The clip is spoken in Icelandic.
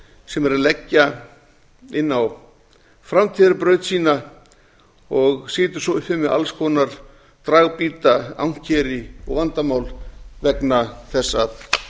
sem er að leggja inn á framtíðarbraut sína og situr svo uppi með alls konar dragbíta ankeri og vandamál vegna þess að